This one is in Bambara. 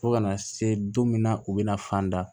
Fo ka na se don min na u bɛna fan da